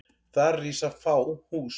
Þar rísa fá hús.